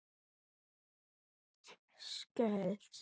Ræktun krefst skjóls.